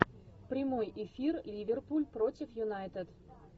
прямой эфир ливерпуль против юнайтед